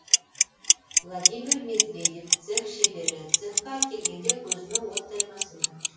владимир медведев цех шебері цехқа әкелгенде көзіме оттай басылды